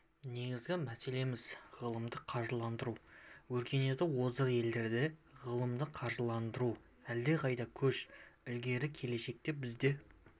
негізгі мәселеміз ғылымды қаржыландыру өркениеті озық елдерде ғылымды қаржыландыру әлдеқайда көш ілгері келешекте біз де